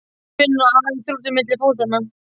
Hún finnur að hann er þrútinn milli fótanna.